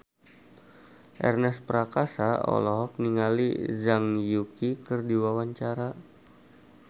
Ernest Prakasa olohok ningali Zhang Yuqi keur diwawancara